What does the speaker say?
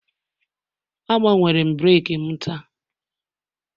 Agbanwere m breeki m taa